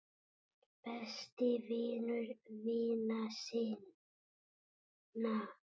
Besti vinur vina sinna.